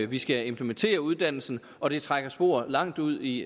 vi skal implementere uddannelsen og det trækker spor langt ud i